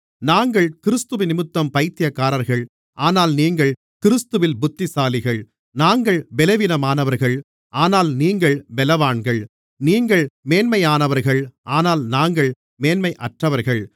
நாங்கள் கிறிஸ்துவினிமித்தம் பைத்தியக்காரர்கள் ஆனால் நீங்கள் கிறிஸ்துவில் புத்திசாலிகள் நாங்கள் பலவீனமானவர்கள் ஆனால் நீங்கள் பலவான்கள் நீங்கள் மேன்மையானவர்கள் ஆனால் நாங்கள் மேன்மையற்றவர்கள்